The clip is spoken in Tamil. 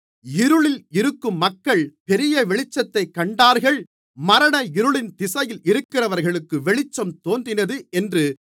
இருளில் இருக்கும் மக்கள் பெரிய வெளிச்சத்தைக் கண்டார்கள் மரண இருளின் திசையில் இருக்கிறவர்களுக்கு வெளிச்சம் தோன்றினது என்று